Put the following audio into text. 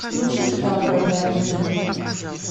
включите загородная жизнь